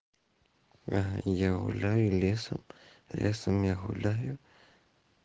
а я гуляю лесом лесом я гуляю